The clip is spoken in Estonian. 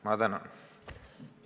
Ma tänan!